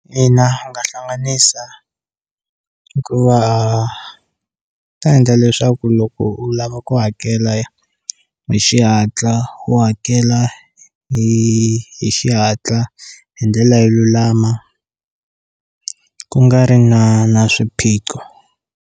Ina hi nga hlanganisa hikuva ta endla leswaku loko u lava ku hakela ya hi xihatla u hakela hi hi xihatla hi ndlela yo lulama ku nga ri na na swiphiqo.